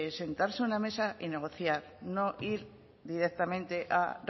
sentarse a una mesa y negociar no ir directamente a